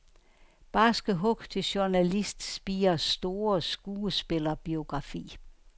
Barske hug til journalistspirers store skuespillerbiografi.